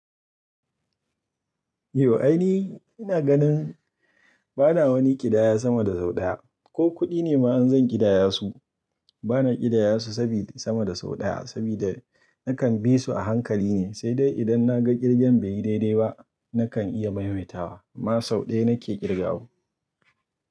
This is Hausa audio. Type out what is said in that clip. Yau aini ina ganin ba na wani ƙidaya sama da sau ɗaya ko kuɗi ne ma in zan ƙidaya su, ba na ƙidaya su sabida sama da sau ɗaya sabida nakan bi su a hankali ne, sai dai idan na ga ƙirgen bai yi daidai ba nakan iya maimaita wa ma sau ɗaya nake ƙirga wa.